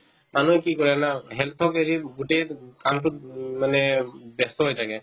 মানুহে কি কৰে জানা health ক এৰি বহুতে ঊম কামতোত উম মানে ব্যস্ত হৈ থাকে